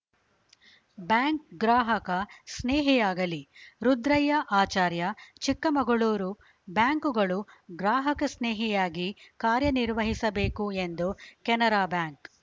bank ಗ್ರಾಹಕ ಸ್ನೇಹಿಯಾಗಲಿ ರುದ್ರಯ್ಯ ಆಚಾರ್ಯ ಚಿಕ್ಕಮಗಳೂರು ಬ್ಯಾಂಕುಗಳು ಗ್ರಾಹಕಸ್ನೇಹಿಯಾಗಿ ಕಾರ್ಯನಿರ್ವಹಿಸಬೇಕು ಎಂದು ಕೆನರಾ ಬ್ಯಾಂಕ್‌